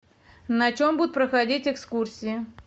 на чем будут проходить экскурсии